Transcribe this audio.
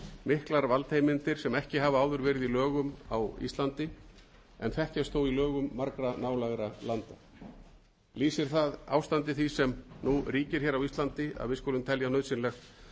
miklar valdheimildir sem ekki hafa áður verið í lögum á íslandi en þekkjast þó í lögum margra nálægra landa lýsir það ástandi því sem nú ríkir á íslandi að við skulum telja nauðsynlegt